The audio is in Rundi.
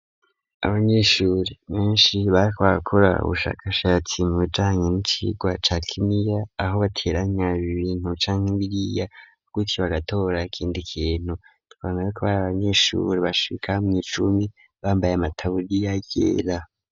abanyeshuri benshi bariko barakora ubushakashatsi mubijanye ni icigwa ca Kiniya aho bateranya ibintu canke biriya gutsyo bagatora ikindi kintu twabonye ko bari abanyeshuri bashika mw,icumi bambaye amataburiya yera.